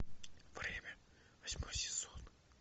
время восьмой сезон